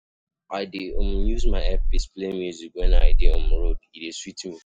I dey um use my earpiece play music wen I dey um road, e dey sweet me.